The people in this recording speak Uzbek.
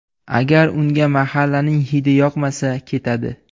Agar unga mahallaning ‘hidi’ yoqmasa, ketadi.